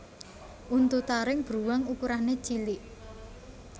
Untu taring bruwang ukurané cilik